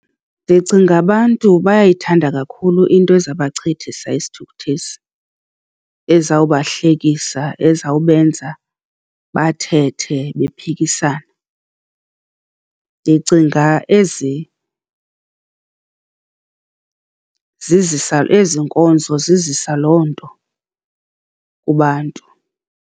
Ndicinga abantu bayayithanda kakhulu into ezawubachithisa isithukuthezi, ezawubahlekisa ezawubenza bathethe bephikisana. Ndicinga ezi zizisa, ezi nkonzo zizisa loo nto kubantu.